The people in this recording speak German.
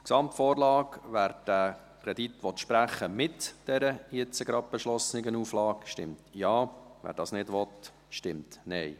Zur Gesamtvorlage: Wer diesen Kredit sprechen will mit der soeben beschlossenen Auflage, stimmt Ja, wer dies nicht will, stimmt Nein.